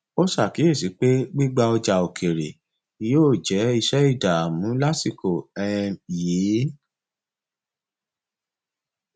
ó ṣàkíyèsí pé gbígbà ọjà òkèèrè yóò jẹ iṣẹ ìdààmú lásìkò um yìí